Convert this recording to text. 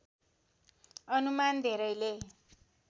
अनुमान धेरैले